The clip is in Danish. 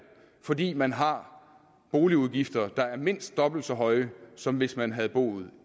fordi man har boligudgifter der er mindst dobbelt så høje som hvis man havde boet